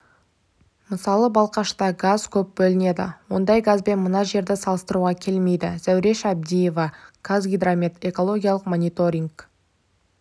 мысалы балқашта газ көп бөлінеді ондай газбен мына жерді салыстыруға келмейді зәуреш әбдиева қазгидромет экологиялық мониторинг